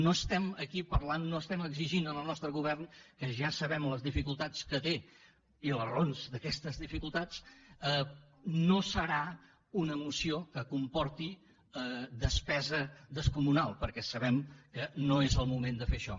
no estem aquí parlant no estem exigint al nostre govern que ja sabem les dificultats que té i les raons d’aquestes dificultats no serà una moció que comporti despesa descomunal perquè sabem que no és el moment de fer això